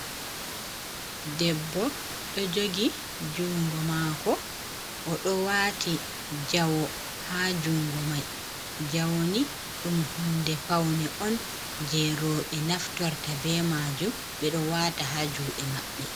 Debbo ɗo jogi jungo mako oɗo wati jawo ha jungo mai jawoni ɗum hunde faune on je roɓe naftorta be majum ɓeɗo wata ha juɗe maɓɓe.